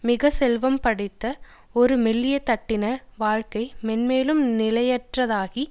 மிக செல்வம் படைத்த ஒரு மெல்லிய தட்டினர் வாழ்க்கை மென்மேலும் நிலையற்றதாகி